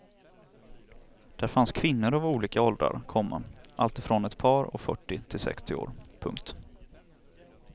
Där fanns kvinnor av olika åldrar, komma alltifrån ett par och fyrtio till sextio år. punkt